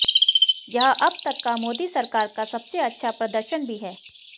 यह अब तक का मोदी सरकार का सबसे अच्छा प्रदर्शन भी है